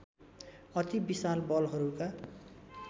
अति विशाल बलहरूका